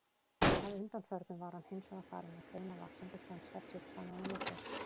Að undanförnu var hann hins vegar farinn að greina vaxandi fjandskap systranna í milli.